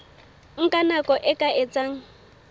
nka nako e ka etsang